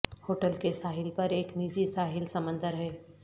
hotel کے ساحل پر ایک نجی ساحل سمندر ہے